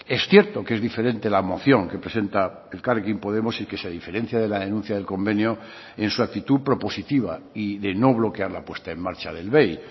es cierto que es diferente la moción que presenta elkarrekin podemos y que se diferencia de la denuncia del convenio en su actitud propositiva y de no bloquear la puesta en marcha del bei